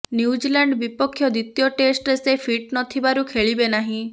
New Zealand ବିପକ୍ଷ ଦ୍ୱିତୀୟ ଟେଷ୍ଟରେ ସେ ଫିଟ ନ ଥିବାରୁ ଖେଳିବେ ନାହିଁ